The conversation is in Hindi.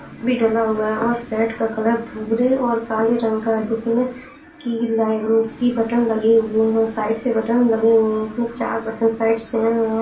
भी ढला हुआ है और सेट का कलर भूरे और काले रंग का है। जिसमें कि लाइन की बटन लगे हुए हैं। साइड से बटन लगे हुए हैं। चार बटन साइड से है और --